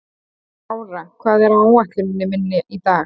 Bára, hvað er á áætluninni minni í dag?